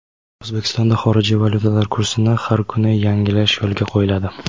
O‘zbekistonda xorijiy valyutalar kursini har kuni yangilash yo‘lga qo‘yiladi.